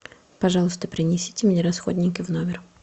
пожалуйста принесите мне расходники в номер